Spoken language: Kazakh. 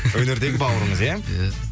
өнердегі бауырыңыз иә иә